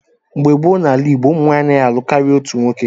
Mgbe gboo n'ala Igbo, ụmụ nwanyị anaghị alụ karịa otu nwoke.